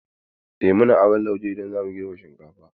Eh, muna aron lauje idan zamu girbe shinkafa.